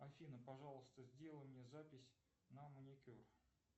афина пожалуйста сделай мне запись на маникюр